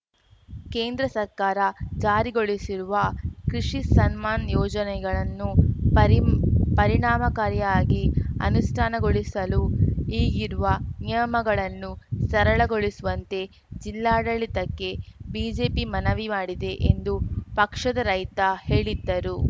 ಕೇಂದ್ರ ಸರ್ಕಾರ ಜಾರಿಗೊಳಿಸಿರುವ ಕೃಷಿ ಸನ್ಮಾನ್‌ ಯೋಜನೆಯನ್ನು ಪರಿ ಪರಿಣಾಮಕಾರಿಯಾಗಿ ಅನುಷ್ಠಾನಗೊಳಿಸಲು ಈಗಿರುವ ನಿಯಮಗಳನ್ನು ಸರಳಗೊಳಿಸುವಂತೆ ಜಿಲ್ಲಾಡಳಿತಕ್ಕೆ ಬಿಜೆಪಿ ಮನವಿ ಮಾಡಿದೆ ಎಂದು ಪಕ್ಷದ ರೈತ ಹೇಳಿದ್ದರು